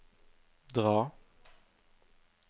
dra